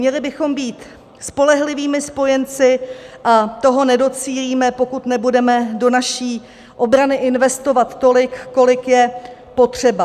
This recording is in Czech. Měli bychom být spolehlivými spojenci, a toho nedocílíme, pokud nebudeme do naší obrany investovat tolik, kolik je potřeba.